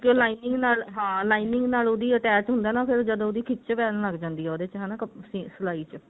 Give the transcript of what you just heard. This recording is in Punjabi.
ਕਿਉਂਕਿ ਉਹ lining ਨਾਲ ਹਾਂ lining ਨਾਲ ਉਹਦੀ attach ਹੁੰਦਾ ਹੈ ਨਾ ਫੇਰ ਜਦੋਂ ਉਹਦੀ ਖਿਚ pain ਲੱਗ ਜਾਂਦੀ ਹੈ ਉਹਦੇ ਚ ਹਨਾ ਸਿਲਾਈ ਚ